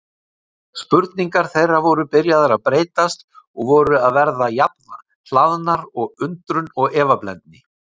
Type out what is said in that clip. Spurningar þeirra voru byrjaðar að breytast og voru að verða jafn hlaðnar undrun og efablendni.